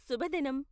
శుభదినం!